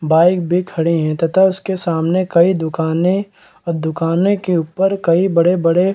bike भी खड़े हैं तथा उसके सामने कई दुकाने और दुकाने के ऊपर कई बड़े-बड़े --